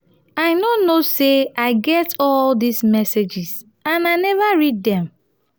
i no know say i get all dis messages and i never read dem